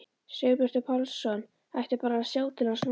Sigurbjartur Pálsson ætti bara að sjá til hans núna!